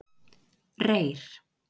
Reyr